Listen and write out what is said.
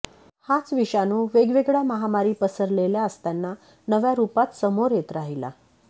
हाच विषाणू वेगवेगळ्या महामारी पसरलेल्या असताना नव्या रूपांत समोर येत राहिला